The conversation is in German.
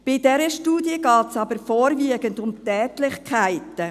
Bei dieser Studie geht es aber vorwiegend um Tätlichkeiten.